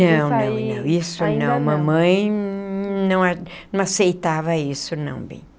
Não, não, não isso não, mamãe não não aceitava isso não bem.